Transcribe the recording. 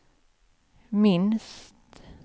minst